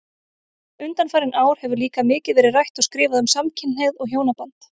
Undanfarin ár hefur líka mikið verið rætt og skrifað um samkynhneigð og hjónaband.